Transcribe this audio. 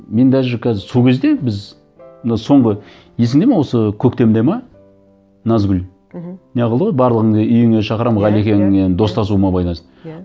мен даже қазір сол кезде біз мына соңғы есіңде ме осы көктемде ме назгүл мхм не қылды ғой барлығыңды үйіме шақырамын иә иә ғалекенмен достасуыма байланысты иә